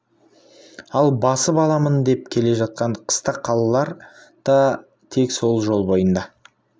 ал басып аламын деп келе жатқан қыстақ қалалар да тек сол жол бойында